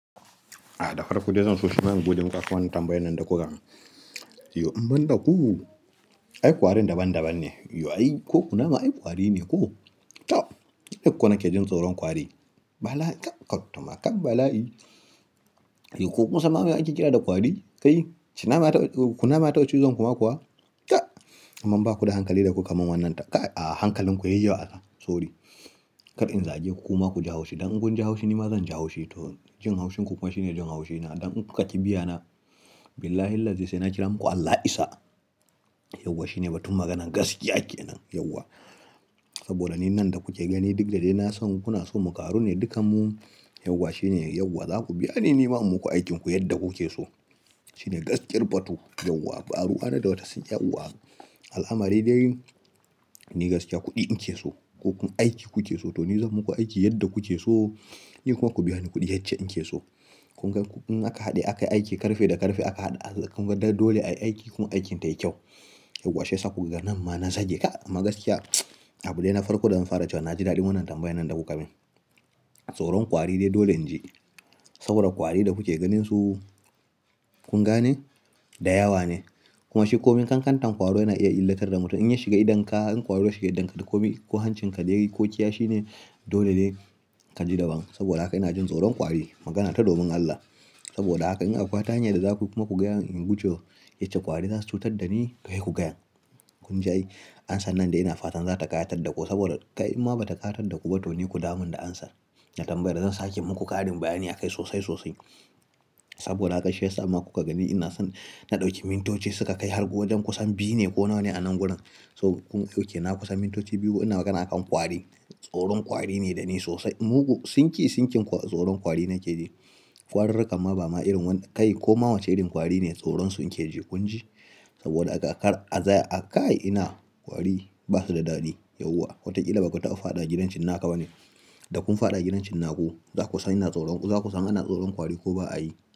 A dafarko dai zan so shi ma in gode muku akan wannan tambayan nan da kuka mun. Yo, in ban da ku, ai ƙwarin daban-daban ne. Yo ai ko kunama ai kwari ne ko? Toh, niko na ke jin tsoron kwari. Bala'i, kai kutuma kan bala'i. Yo ko kun samma me ake ƙira da ƙwari? Kai, shinnama ya taɓa, kunama ya taɓa cizon ku ma kuwa? Kai! Amman ba ku da hankali da ku kamun wannan tambaya kai a hankalin ku yayi wa allah. Sori. Kar in zage ku kuma ku ji haushi. Dan in ku ji haushi ni ma zan ji haushi to jin haushin ku kuma shine jin haushi na. Dan in kun ka ƙi biya na, billahillazi sai na kira muku Allah ya isa. Yauwa shine batun maganan gaskiya ke nan, yauwa. Saboda ni nan da kuke gani duk da dai na son kuna so mu ƙaru ne dukkan mu, yauwa shine yauwa. Za ku biya ni ni ma in muku aikinku yadda kuke so. Shi ne gaskiyar batu. Yauwa, ba ruwa na da wata su yauwa. Al'amari dai ni gaskiya kuɗi na ke so, ko ku aiki ku ke so to ni zan muku aiki yadda kuke so. Ni kuma ku biya ni kuɗi yacce na ke so. Kun ga in aka haɗe aka yi aiki ƙarfe da ƙarfe aka haɗa. Kun ga dole ayi aiki kuma aikin tayi kyau. Yauwa shi ya sa ku ka ga nan ma na zage kai. Amma gaskiya, abu dai na farko da zan fara cewa na ji daɗin wannan tambayan nan da kuka min. Tsoron kwari dai dole in ji. Saboda kwari da kuke ganin su, kun gane? Da yawa ne. Kuma shi komai kankantar kwaro yana iya illatar da mutum. In ya shiga idonka, in kwaro ya shiga idonka da komai ko hancin ka dai ko kiyashi ne dole dai ka ji daban. Saboda haka ina jin tsoron kwari. Magana ta domin Allah. Saboda haka in akwai wata hanya da za ku kuma ku gaya mun in gujewa yacce ƙwari za su cutar da ni, sai ku gaya mun. Kun ji ai, amsar nan dai ina fatan za ta kayatar da ku saboda kai imma ba ta kayatar da ku ba to ni ku dawo mun da amsar. Da tambayar da zan sake muku ƙarin bayani a kai sosai sosai. Saboda haka shi yasa ma ku kaga ni ina son na ɗauki mintoci suka kai har wajen kusan biyu ne ko nawa ne a nan gurin. So kun okay na kusan mintoci biyu ina magana a kan kwari. Tsoron kwari ne da ni sosai. Mugu sinki sinkin tsoron kwari nake ji. Ƙwarirrukan ma ba ma irin wanda kai ko ma wace irin ƙwari ne tsoron su nake ji. Kun ji? Saboda haka kar atsaya kai ina kwari ba su da daɗi. Yauwa, wataƙila ba ku taɓa fadawa gidan cinnaka ba ne? Da kun faɗa gidan cinnaku, za ku san ina tsoron, za ku san ana tsoron kwari ko ba a yi.